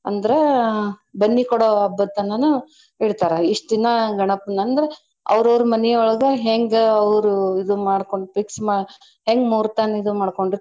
ಅಂದ್ರ ಬನ್ನಿ ಕೊಡೊ ಹಬ್ಬದ್ ತನಾನು ಇಡ್ತಾರ. ಇಷ್ಟ್ ದಿನಾ ಗಣಪನ್ ಅಂದ್ರ ಅವ್ರ್ ಅವ್ರ್ ಮನಿ ಒಳ್ಗ ಹೆಂಗ ಅವ್ರು ಇದು ಮಾಡ್ಕೊಂಡ್ fix ಮಾ~ ಹೆಂಗ್ ಮೂರ್ತನ ಇದು ಮಾಡಕೋಂಡಿರ್ತಾರ.